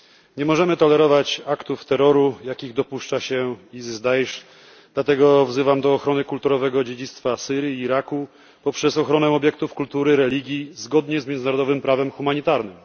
Nie możemy tolerować aktów terroru, jakich dopuszcza się IS Daisz, dlatego wzywam do ochrony kulturowego dziedzictwa Syrii i Iraku poprzez ochronę obiektów kultury, religii zgodnie z międzynarodowym prawem humanitarnym.